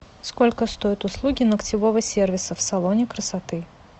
сколько стоят услуги ногтевого сервиса в салоне красоты